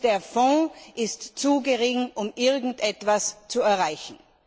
Der Fonds ist zu gering, um irgendetwas zu erreichen.